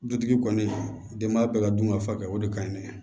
Dutigi kɔni denba bɛɛ ka dun ka faga o de ka ɲi dɛ